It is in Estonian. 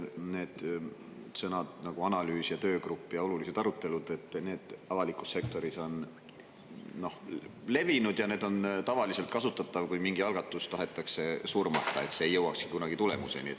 Sõnad, nagu "analüüs", "töögrupp" ja "olulised arutelud", on avalikus sektoris levinud ja neid tavaliselt kasutatakse siis, kui mingi algatus tahetakse surmata, et see ei jõuakski kunagi tulemuseni.